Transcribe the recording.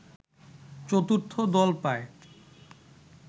চতুর্থ দল পায়